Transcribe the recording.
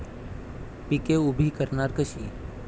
पिके उभी करणार कशी?